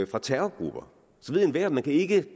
fra terrorgrupper ved enhver at man ikke